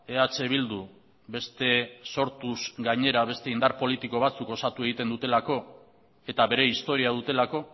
eh bildu beste sortuz gainera beste indar politiko batzuk osatu egiten dutelako eta bere historia dutelako